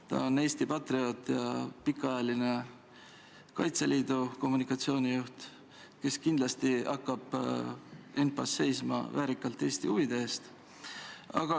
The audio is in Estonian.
Ta on Eesti patrioot ja on olnud pikaajaline Kaitseliidu kommunikatsioonijuht, kes kindlasti hakkab ENPA-s väärikalt Eesti huvide eest seisma.